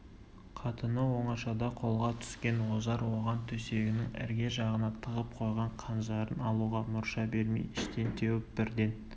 қатыны оңашада қолға түскен ожар оған төсегінің ірге жағына тығып қойған қанжарын алуға мұрша бермей іштен теуіп бірден